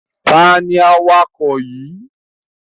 Tani awakọ̀ yìí?